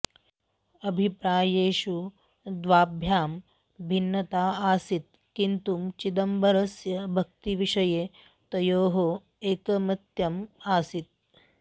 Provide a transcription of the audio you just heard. अभिप्रायेषु द्वाभ्यां भिन्नता आसीत् किन्तु चिदम्बरस्य भक्तिविषये तयोः एकमत्यम् आसीत्